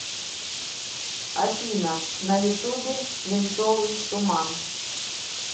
афина на ютубе свинцовый туман